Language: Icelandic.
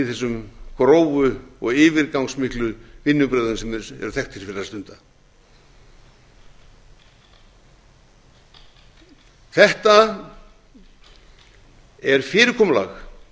í þessum grófu og yfirgangsmiklu vinnubrögðum sem þeir eru þekktir fyrir að stunda þetta er fyrirkomulag